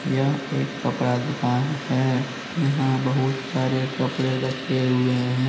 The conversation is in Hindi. यह एक कपड़ा दुकान है यहां बहुत सारे कपड़े रखे हुए है।